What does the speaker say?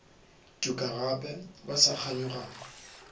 tuka gape ba sa kganyogana